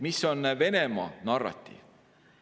Mis on Venemaa narratiiv?